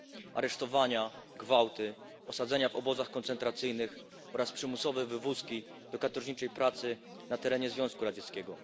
Aresztowania, gwałty, osadzenia w obozach koncentracyjnych oraz przymusowe wywózki do katorżniczej pracy na terenie Związku Radzieckiego.